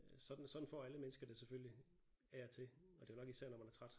Sådan sådan får alle mennesker det selvfølgelig af og til og det er jo nok især når man er træt